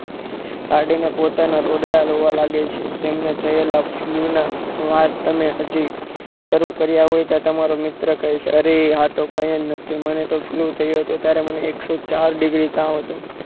કાઢીને પોતાના રોદડાં રોવા લાગે છે તેમને થયેલા ફ્લૂના વાત તમે હાજી શરૂ કર્યા હોય ત્યાં તો તમારો મિત્ર કહે છે અરે તો કઈ જ નથી મને તો ફલૂ થયો હતો ત્યારે તો મને એકસો ચાર ડિગ્રી તાવ હતો.